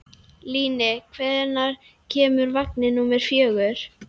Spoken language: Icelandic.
Líni, hvenær kemur vagn númer fjögur?